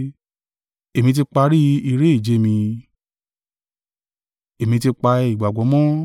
Èmi ti ja ìjà rere, èmi tí parí iré-ìje mi, èmi ti pa ìgbàgbọ́ mọ́.